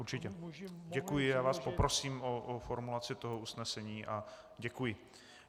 Určitě, děkuji, já vás poprosím o formulaci toho usnesení a děkuji.